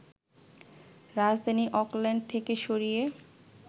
রাজধানী অকল্যান্ড থেকে সরিয়ে